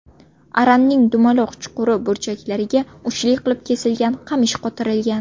Aranning dumaloq chuquri burchaklariga uchli qilib kesilgan qamish qotirilgan.